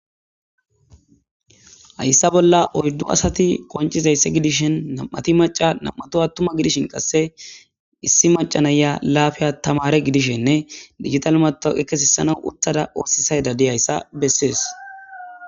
hayssa bolla oyddu asati koncizaysse gidishen nam7ati maca nam7ato attuma gidishin qasse issi macanaya laafiya tamare gidishenne digital mato ekkesisana uttada oosisay dadiyayssa bessees